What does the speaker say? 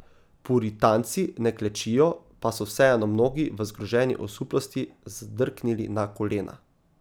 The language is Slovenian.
Puritanci ne klečijo, pa so vseeno mnogi v zgroženi osuplosti zdrknili na kolena.